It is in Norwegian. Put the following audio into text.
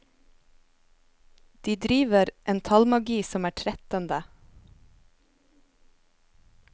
De driver en tallmagi som er trettende.